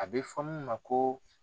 A bɛ fɔ mun ma ko